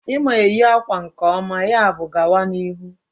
Ị ma eyi akwa nke ọma, yabụ gawa n'ihu